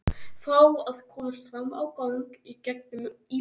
Fá að komast fram á gang í gegnum íbúðina.